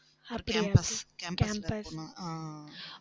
campus campus உள்ள போகணும்